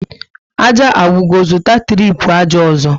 Ájá agwụgo, zụta tripu ájá ọzọ